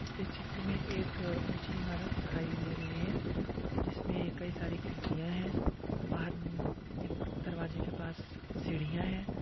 इस चित्र मे एक ऊंची इमारत दिखाई दे रही है। जिसमे कई सारी खिड़किया हैं। बाहर निक दरवाजे के पास सीढ़िया है।